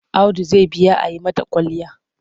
Audu zai biya a yi mata kwalliya.